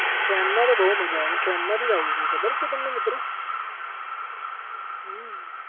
Train માં તો બહુ મજા આવે હું train માંથી આવું છું ખબર છે તમને મિત્ર હમ